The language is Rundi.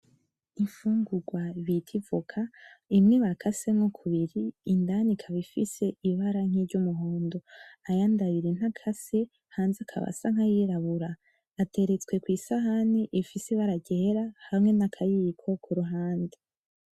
Imfungurwa bita ivoka, imwe bakasemwo kubiri, indani ikaba ifise ibara nkiry'umuhondo. Ayandi abiri ntakase, hanze akaba asa nkayirabura. Ateretswe kwisahani ifise ibara ryera hamwe nakayiko kuruhande.